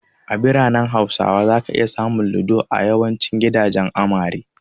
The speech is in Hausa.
A biranen ƙasar Hausa, zaka iya samun Ludo a yawancin gidajen amare.